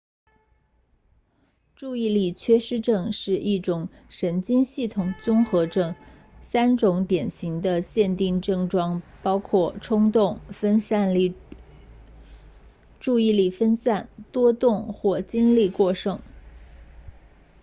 注意力缺失症是一种神经系统综合症三种典型的限定症状包括冲动注意力分散多动或精力过剩